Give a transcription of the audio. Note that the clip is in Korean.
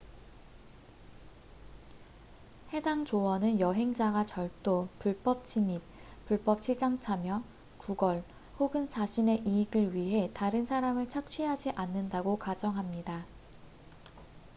해당 조언은 여행자가 절도 불법 침입 불법 시장 참여 구걸 혹은 자신의 이익을 위해 다른 사람을 착취하지 않는다고 가정합니다